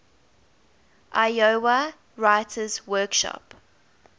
iowa writers workshop